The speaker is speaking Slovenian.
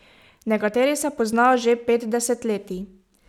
Nekateri se poznajo že pet desetletij.